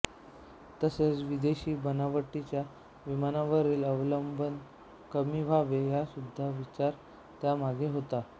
तसेच विदेशी बनावटीच्या विमानांवरील अवलंबन कमी व्हावे हासुद्धा विचार त्यामागे होता